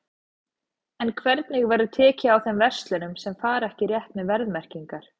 En hvernig verður tekið á þeim verslunum sem að fara ekki rétt með verðmerkingar?